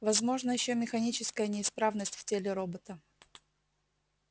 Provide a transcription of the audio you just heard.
возможна ещё механическая неисправность в теле робота